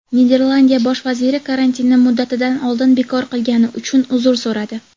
Niderlandiya Bosh vaziri karantinni muddatidan oldin bekor qilgani uchun uzr so‘radi.